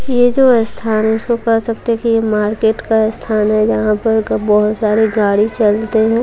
ये जो स्थान कर सकते थे ये मार्केट का स्थान है जहां पर क बहुत सारे गाड़ी चलते हैं।